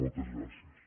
moltes gràcies